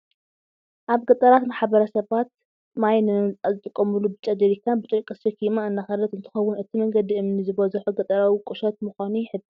ኣብ ገጠራት ማሕበረሰባት ማይ ንምምፃእ ዝጥቀሙሉ ብጫ ጀሪካን ብጨርቂ ተሸኪማ እንዳኸደት እንትከውን፣ እቲ መንገዲ እምኒ ዝበዘሖ ገጠራዊት ቁሸት ምዃና ይሕብር።